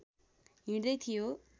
हिँड्दै थियो